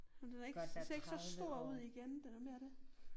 Ej men den er ikke ser ikke så stor ud igen det da mere det